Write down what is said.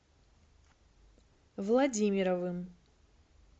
владимировым